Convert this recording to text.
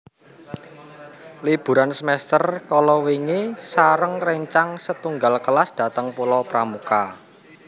Liburan semester kalawingi sareng rencang setunggal kelas dateng Pulau Pramuka